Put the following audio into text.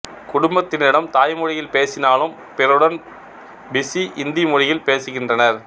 குடும்பத்தினரிடம் தாய்மொழியில் பேசினாலும் பிறருடன் பிசி இந்தி மொழியில் பேசுகின்றனர்